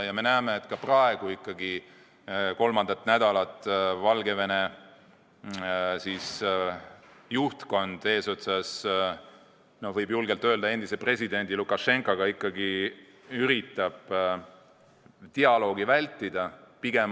Me näeme, et ka praegu püüab Valgevene juhtkond eesotsas – seda võib julgelt öelda –endise presidendi Lukašenkaga juba kolmandat nädalat dialoogi vältida.